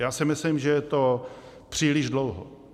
Já si myslím, že je to příliš dlouho.